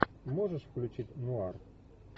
можешь включить нуар